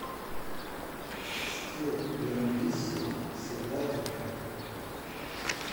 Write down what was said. скилл ерундиссимо сыграть в